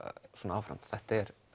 áfram þetta er